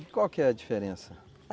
E qual que é a diferença?